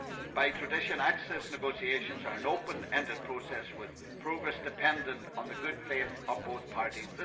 By tradition, access negotiations are an open ended process, with progress dependent on the good faith of both parties.